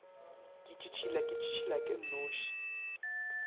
ke tšhitšhila ke tšhitšhilake nnoši